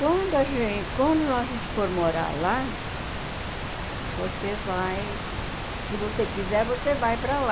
Quando a gente quando a gente for morar lá, você vai... Se você quiser, você vai para lá.